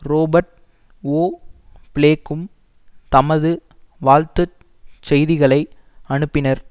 Robert O பிளேக்கும் தமது வாழ்த்து செய்திகளை அனுப்பினர்